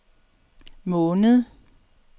måned